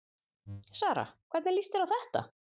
Sara, hvernig lýst þér á þetta?